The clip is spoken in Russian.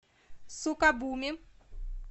сукабуми